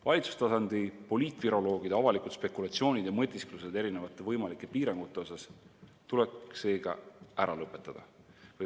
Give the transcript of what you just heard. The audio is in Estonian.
Valitsustasandi poliitviroloogide avalikud spekulatsioonid ja mõtisklused erinevate võimalike piirangute osas tuleks ära lõpetada.